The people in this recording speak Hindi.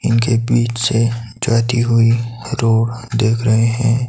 इनके बीच से जाती हुई रोड दिख रहे हैं।